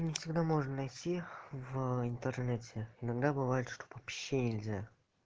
не всегда можно найти в интернете иногда бывает что вообще нельзя